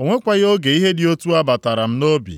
O nwekwaghị oge ihe dị otu a batara m nʼobi.